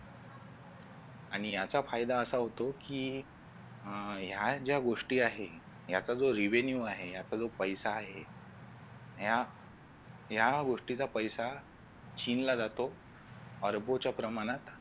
आणि याचा फायदा असा होतो की अह ह्या ज्या गोष्टी आहे याचा जो revenue आहे याचा जो पैसा आहे या गोष्टीचा पैसा चीनला जातो अरबो च्या प्रमाणात